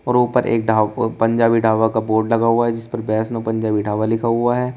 ऊपर एक ढा पंजाबी ढाबा का बोर्ड लगा हुआ है जिस पर वैष्णो पंजाबी ढाबा लिखा हुआ है।